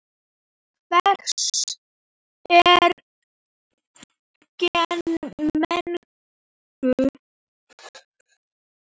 Hvers eru gen megnug?